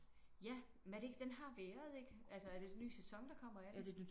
Ja men er det ikke den har været har den ikke? Altså er det en ny sæson der kommer af den?